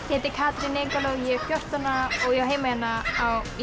ég heiti Katrín og ég er fjórtán ára og ég á heima hérna í